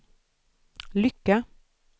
lycka